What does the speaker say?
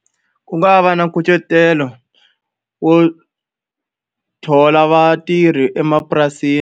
Ku nga va na nkucetelo wo thola vatirhi emapurasini.